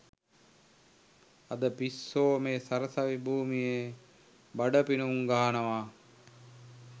අද පිස්සෝ මේ සරසවි භූමියේ බඩ පිනුම් ගහනවා